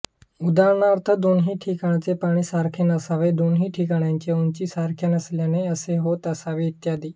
उदाहरणार्थ दोन्ही ठिकाणचे पाणी सारखे नसावे दोन्ही ठिकाणांच्या उंची सारख्या नसल्याने असे होत असावे इत्यादी